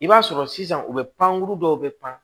I b'a sɔrɔ sisan u be pankuru dɔw be pan